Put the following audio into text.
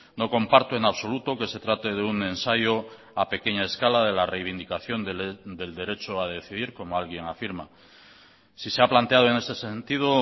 no comparto en absoluto que se trate de un ensayo a pequeña escala de la reivindicación del derecho a decidir como alguien afirma si se ha planteado en ese sentido